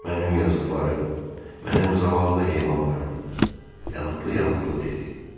Mənim yazıqlarım, mənim zavallı heyvanlarım, yanıqlı yamıqlı dedi.